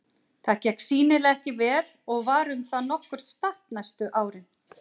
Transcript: Það gekk sýnilega ekki vel og var um það nokkurt stapp næstu árin.